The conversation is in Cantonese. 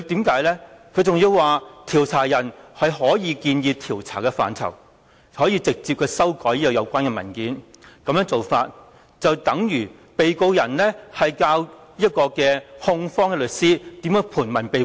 他還辯稱受查人可以建議調查的範疇，並直接修改有關文件，但這其實無異於被告教唆控方律師如何盤問被告。